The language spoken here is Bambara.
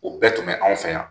O bɛɛ tun bɛ anw fɛ yan.